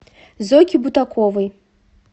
зойке бутаковой